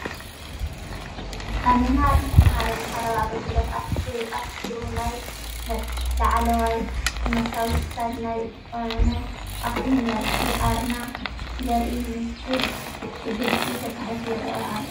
አብ ምምሃር ምስትምሃርን ማሕበራዊ አገልግሎታትን አተኲሩ ናይ ነጥፍ ላዕለዋይ ትምህርታዊ ትካል ናይ ዝኮነ ኣክሱም ዩኒቨርሲቲ አረማ ዘርኢ ምስል ብግልፂ ተፃሒፉ ይረአ ኣሎ።